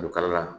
Kalukarila